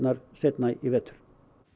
seinna í vetur